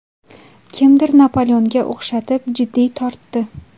Kimdir Napoleonga o‘xshatib, jiddiy tortdi.